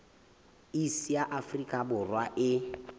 iss ya afrika borwa e